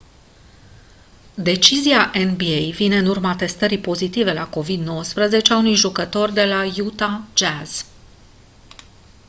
decizia nba vine în urma testării pozitive la covid-19 a unui jucător de la utah jazz